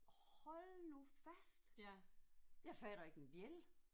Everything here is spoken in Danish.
Hold nu fast. Jeg fatter ikke en bjælde